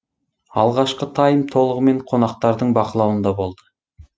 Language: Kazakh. алғашқы тайм толығымен қонақтардың бақылауында болды